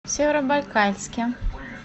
северобайкальске